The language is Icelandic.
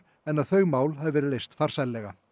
en að þau mál hafi verið leyst farsællega